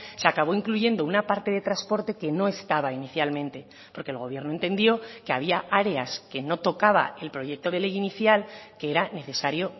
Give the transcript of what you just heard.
se acabó incluyendo una parte de transporte que no estaba inicialmente porque el gobierno entendió que había áreas que no tocaba el proyecto de ley inicial que era necesario